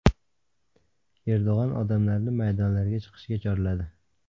Erdo‘g‘on odamlarni maydonlarga chiqishga chorladi.